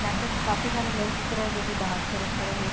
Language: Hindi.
यहाँ पे काफ़ी सारे लोग दिख रहे जो कि बाहर की तरफ़ खड़े हैं।